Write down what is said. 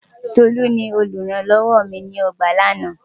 Tolú ni olùrànlọ́wọ mi nínú ọgbà lánàá.